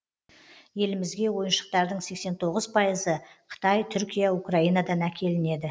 елімізге ойыншықтардың сексен тоғыз пайызы қытай түркия украинадан әкелінеді